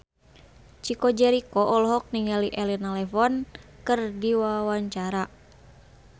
Chico Jericho olohok ningali Elena Levon keur diwawancara